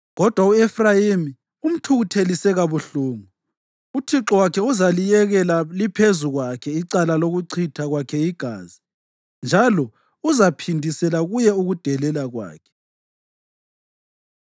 Kodwa u-Efrayimi umthukuthelise kabuhlungu; UThixo wakhe uzaliyekela liphezu kwakhe icala lokuchitha kwakhe igazi njalo uzaphindisela kuye ukudelela kwakhe.